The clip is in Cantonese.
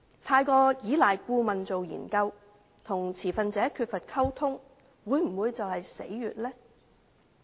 過分依賴顧問進行研究，與持份者缺乏溝通，會否便是其死穴呢？